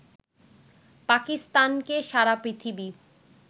পাকিস্তানকে সারা পৃথিবী